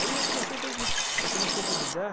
Aí eu comecei a fazer o seguinte, eu comecei a convidar